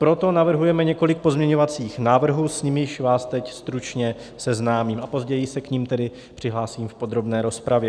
Proto navrhujeme několik pozměňovacích návrhů, s nimiž vás teď stručně seznámím, a později se k nim tedy přihlásím v podrobné rozpravě.